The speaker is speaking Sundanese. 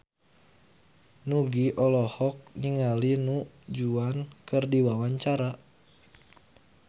Nugie olohok ningali Du Juan keur diwawancara